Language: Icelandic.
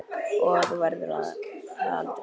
Og þú verður það aldrei.